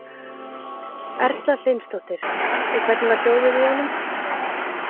Erla Hlynsdóttir: Og hvernig var hljóðið í honum?